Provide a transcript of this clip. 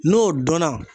N'o dɔnna